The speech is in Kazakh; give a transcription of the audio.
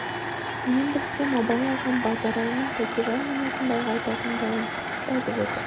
мен білсем абай ағам базаралының тәкежан мен әзімбайға айтатын дауын жазып отыр